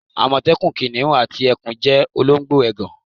Àmọ̀tẹ́kùn, kìnnìún àti ẹkùn jẹ́ olóńgbò ègàn.